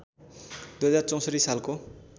२०६४ सालको